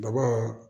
Daba